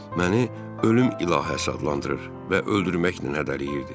Məni ölüm ilahəsi adlandırır və öldürməklə hədələyirdi.